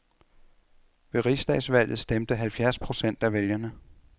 Ved rigsdagsvalget stemte halvfjerds procent af vælgerne.